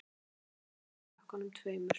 Sprengiefni í pökkunum tveimur